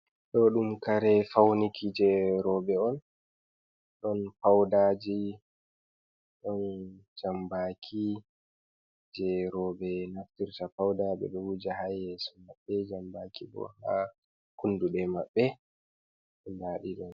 Ɗooɗum kare fawniki jey rooɓe on, ɗon faƴdaaji ɗon jambaaki, jey rooɓe naftirta, fawda ɓe ɗo wuja haa yeeso maɓɓe, jambaaki bo ha kunnduɗe maɓɓe ndaaɗi ɗo.